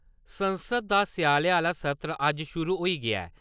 संसद दा स्याले आह्ला सत्र अज्ज शुरू होई गेआ ऐ।